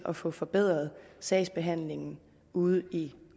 at få forbedret sagsbehandlingen ude i